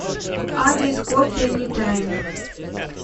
адрес кофе энитайм